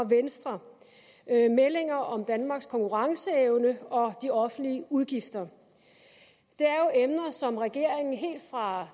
venstre meldinger om danmarks konkurrenceevne og de offentlige udgifter det er jo emner som regeringen helt fra